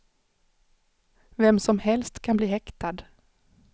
Vem som helst kan bli häktad.